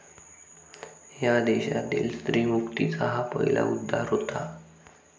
या देशातील स्त्रीमुक्तीचा हा पहिला उद्गार होता.